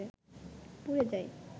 পুড়ে যায়